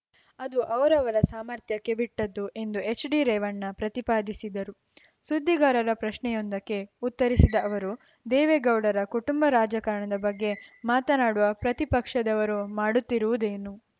ಅದು ಅವರವರ ಸಾಮರ್ಥ್ಯಕ್ಕೆ ಬಿಟ್ಟಿದ್ದು ಎಂದು ಎಚ್‌ಡಿರೇವಣ್ಣ ಪ್ರತಿಪಾದಿಸಿದರು ಸುದ್ದಿಗಾರರ ಪ್ರಶ್ನೆಯೊಂದಕ್ಕೆ ಉತ್ತರಿಸಿದ ಅವರು ದೇವೇಗೌಡರ ಕುಟುಂಬ ರಾಜಕಾರಣದ ಬಗ್ಗೆ ಮಾತನಾಡುವ ಪ್ರತಿಪಕ್ಷದವರು ಮಾಡುತ್ತಿರುವುದೇನು